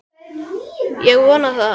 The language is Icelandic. Ég vona það.